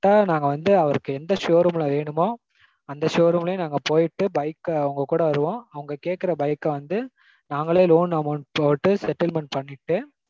நாங்க வந்து அவருக்கு எந்த showroom ல வேணுமோ showroom யே நாங்க போய்ட்டு bike அ உங்க கூட வருவோம். அவங்க கேக்கற bike அ வந்து நாங்களே loan amount போட்டு settlement பண்ணிட்டு